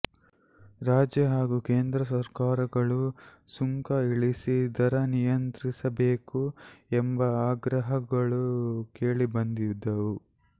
ರಾಜ್ಯ ಹಾಗೂ ಕೇಂದ್ರ ಸರ್ಕಾರಗಳು ಸುಂಕ ಇಳಿಸಿ ದರ ನಿಯಂತ್ರಿಸಬೇಕು ಎಂಬ ಆಗ್ರಹಗಳೂ ಕೇಳಿಬಂದಿದ್ದವು